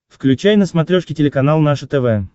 включай на смотрешке телеканал наше тв